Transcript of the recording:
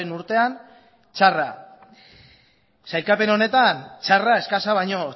urtean txarra sailkapen honetan txarra eskasa baino